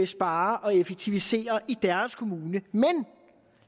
spare og effektivisere i deres kommune men